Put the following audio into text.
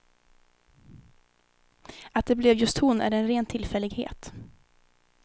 Att det blev just hon är en ren tillfällighet.